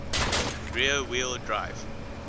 rear wheel drive